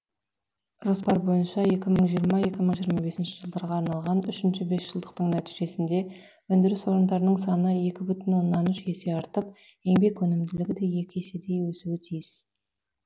жоспар бойынша екі мың жиырма екі мың жиырма бесінші жылдарға арналған үшінші бесжылдықтың нәтижесінде өндіріс орындарының саны екі бүтін оннан үш есе артып еңбек өнімділігі де екі еседей өсуі тиіс